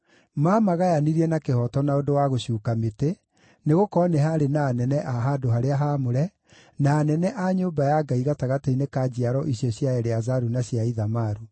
Maamagayanirie na kĩhooto na ũndũ wa gũcuuka mĩtĩ, nĩgũkorwo nĩ haarĩ na anene a handũ-harĩa-haamũre, na anene a nyũmba ya Ngai gatagatĩ-inĩ ka njiaro icio cia Eleazaru na cia Ithamaru.